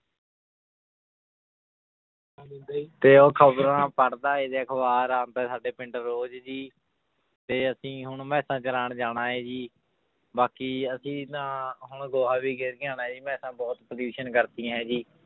ਤੇ ਉਹ ਖ਼ਬਰਾਂ ਪੜ੍ਹਦਾ ਹੈ ਤੇ ਅਖ਼ਬਰਾ ਆਪਦਾ ਸਾਡੇ ਪਿੰਡ ਰੋਜ਼ ਜੀ ਤੇ ਅਸੀਂ ਹੁਣ ਮੈਸਾਂ ਚਰਾਉਣ ਜਾਣਾ ਹੈ ਜੀ, ਬਾਕੀ ਅਸੀਂ ਤਾਂ ਹੁਣ ਗੋਹਾ ਵੀ ਗਿਰ ਕੇ ਆਉਣਾ ਜੀ ਮੈਸਾਂ ਬਹੁਤ pollution ਕਰਤੀਆਂ ਹੈ ਜੀ